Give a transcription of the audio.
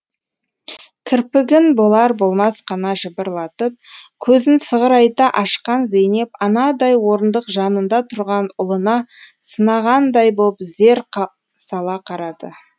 кірпігін болар болмас қана жыбырлатып көзін сығырайта ашқан зейнеп анадай орындық жанында тұрған ұлына сынағандай боп зер сала қарады